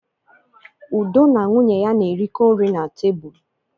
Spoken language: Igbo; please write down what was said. Udo na nwunye ya na-erikọ nri na tebụl.